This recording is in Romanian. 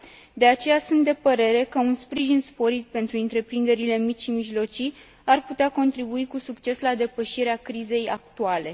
De aceea, sunt de părere că un sprijin sporit pentru întreprinderile mici și mijlocii ar putea contribui cu succes la depășirea crizei actuale.